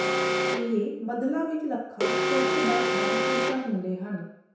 ਇਹ ਬੱਦਲਾਂ ਵਿਚ ਲੱਖਾਂ ਛੋਟੇ ਬਰਫ਼ ਦਾ ਸ਼ੀਸ਼ਾ ਹੁੰਦੇ ਹਨ